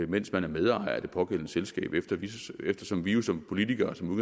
mens man er medejer af det pågældende selskab eftersom vi jo som politikere som